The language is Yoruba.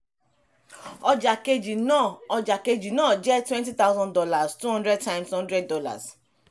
ọjà kejì náà ọjà kejì náà jẹ́ twnety thousand dollars two hundred times hundred dollars